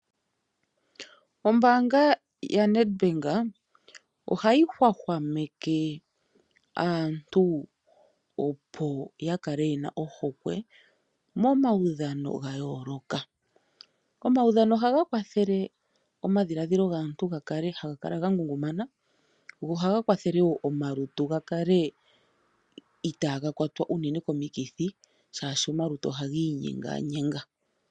Ombaanga yaNedbank ohayi hwahwameke aantu opo ya kale yena ohokwe momaudhano ga yooloka. Omaudhano ohaga kwathele omadhiladhilo gaantu gakale haga kala ga ngungumana, go ohaga kwathele wo omalutu ga kale itaaga kwatwa unene komikithi shaashi omalutu ohagi inyenganyenga.